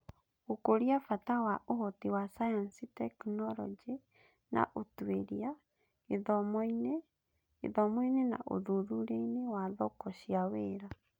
Gũkũria bata na ũhoti wa sayansi, tekinoronjĩ na ũtuĩria (ST&I) gĩthomo-inĩ, gĩthomo-inĩ na ũthuthuria-inĩ wa thoko cia wĩra.